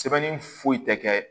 Sɛbɛnni foyi tɛ kɛ